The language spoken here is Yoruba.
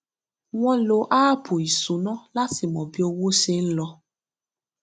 wọn lo áàpù ìṣúná láti mọ bí owó ṣe ń lọ